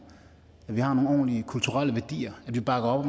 at vi har nogle ordentlige kulturelle værdier at vi bakker op